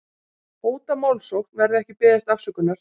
Hóta málsókn verði ekki beðist afsökunar